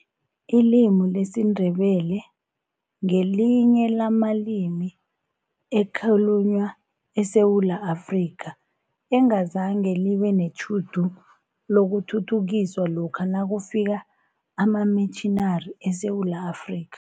Ilimi lesiNdebele ngelinye lamalimi akhulunywa eSewula Afrika, engazange libe netjhudu lokuthuthukiswa lokha nakufika amamitjhinari eSewula Afrika.